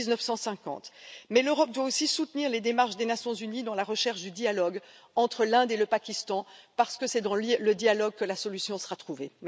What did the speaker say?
1950. Mais l'Europe doit aussi soutenir les démarches des Nations unies dans la recherche du dialogue entre l'Inde et le Pakistan, parce que c'est dans le dialogue que la solution sera trouvée.